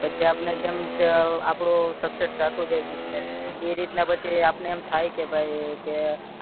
પછી આપને જેમ કે આપડો success થતું જાય business ઈ રીતના પછી આપને એમ થાય કે ભય કે